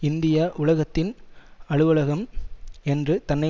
India உலகத்தின் அலுவலகம் என்று தன்னை